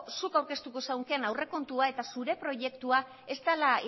zuk aurkeztuko zunken aurrekontua eta zure proiektua ez dala